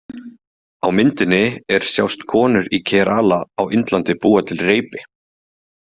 Á myndinni er sjást konur í Kerala á Indlandi búa til reipi.